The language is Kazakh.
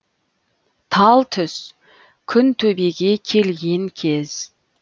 тал түс күн төбеге келген кез